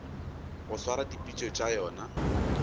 go swara dipitšo tša yona